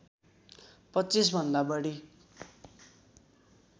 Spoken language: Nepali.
२५ भन्दा बढी